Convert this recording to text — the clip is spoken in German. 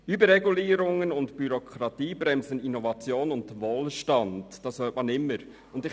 Überregulierungen und Bürokratie bremsen Innovation und Wohlstand, wie immer wieder zu hören ist.